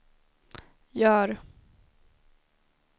gör